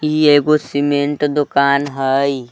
ई एगो सीमेंट दोकान हई।